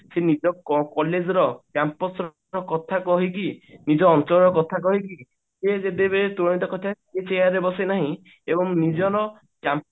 ସେ ନିଜ କ collage ର Campus ର କଥା କହିକି ନିଜ ଅଞ୍ଚଳର କଥା କହିକି ସେ ଯେତେବେଳେ ଚୁଡାନ୍ତ କରିଥାଏ ସେ chair ରେ ବସେ ନାହିଁ ଏବଂ ନିଜର